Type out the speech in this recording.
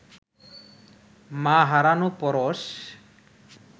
মা হারানো পরশ